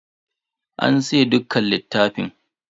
An siye dukkan littafan.